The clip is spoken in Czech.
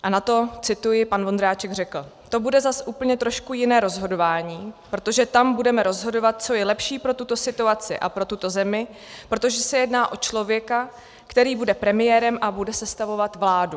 A na to - cituji - pan Vondráček řekl: "To bude zase úplně trošku jiné rozhodování, protože tam budeme rozhodovat, co bude lepší pro tuto situaci a pro tuto zemi, protože se jedná o člověka, který bude premiérem a bude sestavovat vládu."